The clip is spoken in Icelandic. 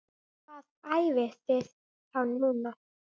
Hvar æfiði þá núna?